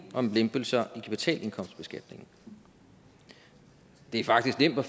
om lempelser i kvartalindkomstbeskatningen det er faktisk nemt at